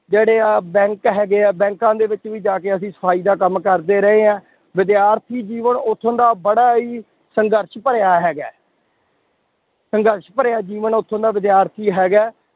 ਜਿਹੜੇ ਆਹ bank ਹੈਗੇ ਆ ਬੈਂਕਾਂ ਦੇ ਵਿੱਚ ਵੀ ਜਾ ਕੇ ਅਸੀਂ ਸਫ਼ਾਈ ਦਾ ਕੰਮ ਕਰਦੇ ਰਹੇ ਆ, ਵਿਦਿਆਰਥੀ ਜੀਵਨ ਉੱਥੋਂ ਦਾ ਬੜਾ ਹੀ ਸੰਘਰਸ਼ ਭਰਿਆ ਹੈਗਾ ਹੈ ਸੰਘਰਸ਼ ਭਰਿਆ ਜੀਵਨ ਉੱਥੋਂ ਦਾ ਵਿਦਿਆਰਥੀ ਹੈਗਾ ਹੈ,